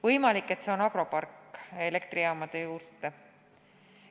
Võimalik, et see on agropark, mis rajatakse elektrijaamade juurde.